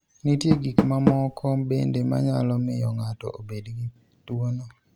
Nitie gik mamoko bende manyalo miyo ng'ato obed gi tuwono.